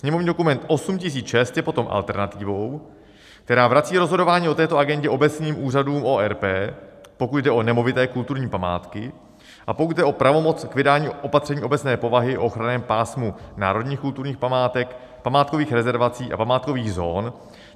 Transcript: Sněmovní dokument 8006 je potom alternativou, která vrací rozhodování o této agendě obecním úřadům ORP, pokud jde o nemovité kulturní památky a pokud jde o pravomoc k vydání opatření obecné povahy o ochranném pásmu národních kulturních památek, památkových rezervací a památkových zón.